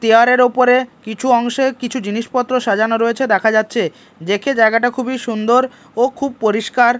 তেয়ারের ওপরে কিছু অংশে কিছু জিনিসপত্র সাজানো রয়েছে দেখা যাচ্ছে দেখে জায়গাটা খুবই সুন্দর ও খুব পরিষ্কার--